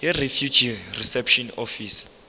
yirefugee reception office